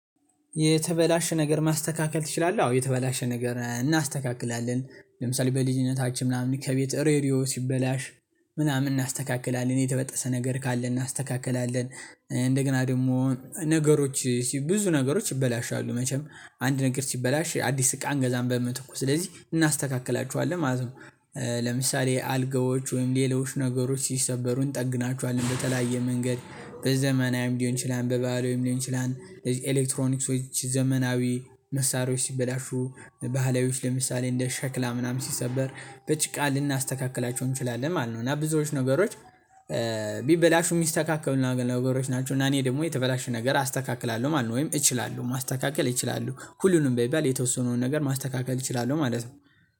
የተበላሸ ነገር ማስተካከል ትችላለህ? አዎ የተበላሸ ነገር እናስተካክላለን ለምሳሌ በልጅነታችን ምናምን ከቤት ሬድዮ ሲበላሽ ምናምን እናስተካክላለን የተበጠሰ ነገር ካለ እናስተካክላለን እንደገና ደግሞ ነገሮች ብዙ ነገሮች ይበላሻሉ መቼም አንድ ነገር ሲበላሽ አዲስ እቃ አንገዛም በምትኩ ስለዚህ እናስተካክላቸዋለን ማለት ነው ለምሳሌ አልጋዎች ወይም ሌሎች ነገሮች ሲሰበሩ እንጠግናቸዋለን በተለያየ መንገድ በዘመናዊም ሊሆን ይችላል በባህላዊም ሊሆን ሊሆን ይችላል ለዚህ ኤሌክትሮኒክሶች ዘመናዊ መሳሪያዎች ሲበላሹ ባህላዊዎች ለምሳሌ እንደ ሸክላ ምናምን ሲሰበር በጭቃ ልናስተካክላቸው እንችላለን ማለት ነው እና ብዙዎች ነገሮች ቢበላሹ የሚስተካከሉ ነገሮች ናቸው እና እኔ ደግሞ የተበላሹ ነገር አስተካክላለሁ ማለት ነው ወይም እችላለሁ ማስተካከል ይችላለሁ ሁሉንም በሚባል የተወሰኑን ነገር ማስተካከል እችላለሁ ማለት ነው